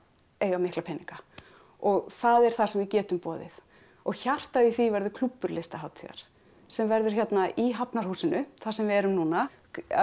eiga mikla peninga og það er það sem við getum boðið og hjartað í því verður klúbbur listahátíðar sem verður hérna í Hafnarhúsinu þar sem við erum núna